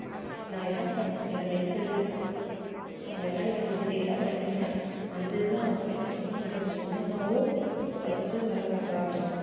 நான் இதான் படிச்சிருக்கேன் நான் medical அஹ் mechanical engineering தான் படிச்சிருக்கேன்னா அந்த இதுதான் வைப்பேன்னு சொல்லிட்டு சில பேர் சொந்தமாவும் வச்சு வேலை பாக்கறாங்க